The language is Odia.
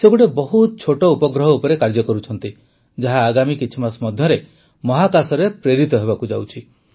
ସେ ଗୋଟିଏ ବହୁତ ଛୋଟ ଉପଗ୍ରହ ଉପରେ କାର୍ଯ୍ୟ କରୁଛନ୍ତି ଯାହା ଆଗାମୀ କିଛି ମାସ ମଧ୍ୟରେ ମହାକାଶରେ ପ୍ରେରିତ ହେବାକୁ ଯାଉଛି